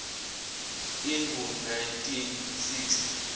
ingu nineteen six